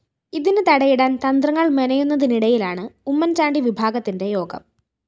ഇതിന് തടയിടാന്‍ തന്ത്രങ്ങള്‍ മെനയെന്നുതിനിടയിലാണ് ഉമ്മന്‍ചാണ്ടി വിഭാഗത്തിന്റെ യോഗം